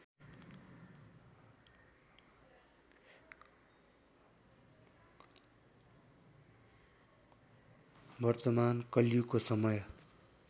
वर्तमान कलियुगको समय